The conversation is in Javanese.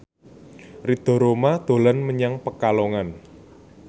Ridho Roma dolan menyang Pekalongan